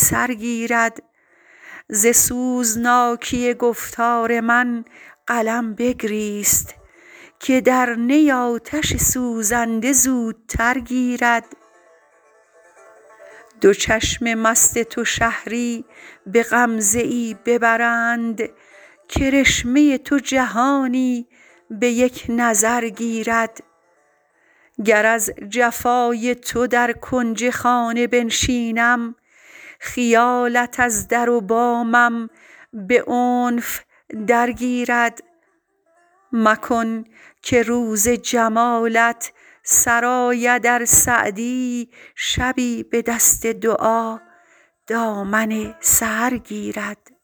سر گیرد ز سوزناکی گفتار من قلم بگریست که در نی آتش سوزنده زودتر گیرد دو چشم مست تو شهری به غمزه ای ببرند کرشمه تو جهانی به یک نظر گیرد گر از جفای تو در کنج خانه بنشینم خیالت از در و بامم به عنف درگیرد مکن که روز جمالت سر آید ار سعدی شبی به دست دعا دامن سحر گیرد